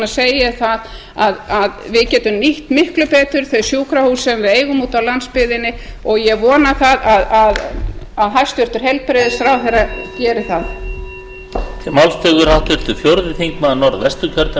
segi ég það að við getum nýtt miklu betur þau sjúkrahús sem við eigum úti á landsbyggðinni og ég vona það að hæstvirtur heilbrigðisráðherra geri það